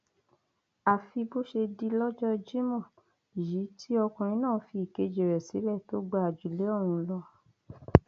àfi bó ṣe di lọjọ jimoh yìí tí ọkùnrin náà fi ìkejì rẹ sílẹ tó gba àjùlé ọrun lọ